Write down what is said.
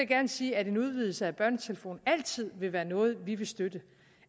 gerne sige at en udvidelse af børnetelefonen altid vil være noget vi vil støtte